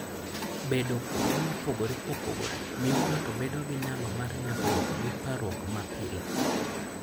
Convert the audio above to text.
Bedo kuonde mopogore opogore miyo ng'ato bedo gi nyalo mar nyagruok gi parruok mapile.